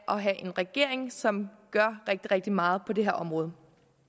at have en regering som gør rigtig rigtig meget på det her område